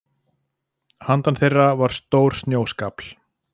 Handan þeirra var stór snjóskafl.